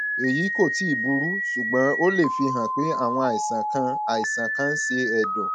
èyí kò tíì burú ṣùgbọn ó lè fihàn pé àwọn àìsàn kan àìsàn kan ń ṣe ẹdọ